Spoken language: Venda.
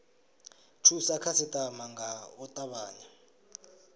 thusa khasitama nga u tavhanya